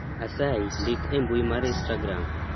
asayi ndik e mbui mar istagram